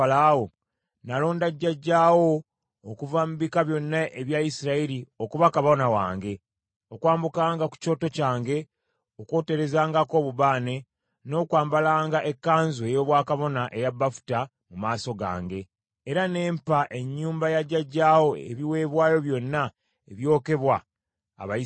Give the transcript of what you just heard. Nalonda jjajjaawo okuva mu bika byonna ebya Isirayiri okuba kabona wange, okwambukanga ku kyoto kyange, okwoterezangako obubaane, n’okwambalanga ekkanzu ey’obwakabona eya bafuta mu maaso gange. Era ne mpa ennyumba ya jjajjaawo ebiweebwayo byonna ebyokebwa Abayisirayiri.